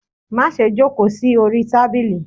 ma sé jòkó sí Ori tábilí!